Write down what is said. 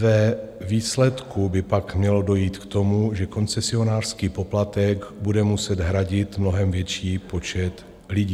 Ve výsledku by pak mělo dojít k tomu, že koncesionářský poplatek bude muset hradit mnohem větší počet lidí.